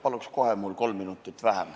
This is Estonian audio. Paluks kohe kolm minutit vähem.